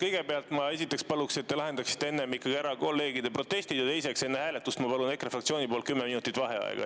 Kõigepealt, esiteks ma palun, et te lahendaksite enne ära kolleegide protestid, ja teiseks, enne hääletust ma palun EKRE fraktsiooni nimel 10 minutit vaheaega.